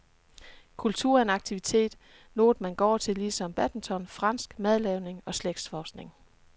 Kultur er en aktivitet, noget man går til ligesom badminton, fransk madlavning og slægtsforskning.